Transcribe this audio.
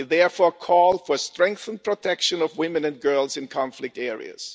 We therefore call for strengthened protection of women and girls in conflict areas.